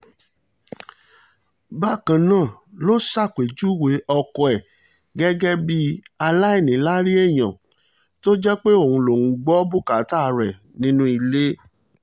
bákan náà ló ṣàpèjúwe ọkọ ẹ̀ gẹ́gẹ́ bíi aláìníláárí èèyàn tó jẹ́ pé òun lòún gbọ́ bùkátà rẹ̀ nínú ilé